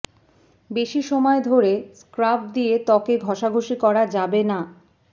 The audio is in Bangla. বেশি সময় ধরে স্ক্রাব দিয়ে ত্বকে ঘষাঘষি করা যাবে না